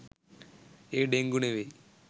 ඒ dengue නෙවෙයි